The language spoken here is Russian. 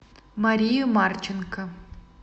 марию марченко